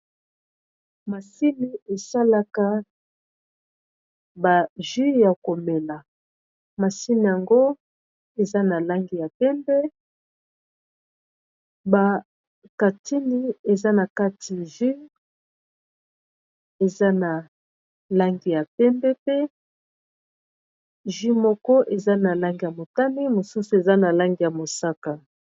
Masini esalaka ba jus ya komela masini yango eza na langi ya pembe ba katini eza na kati jus eza na langi ya pembe pe jus moko eza na langi ya motani mosusu eza na langi ya mosaka.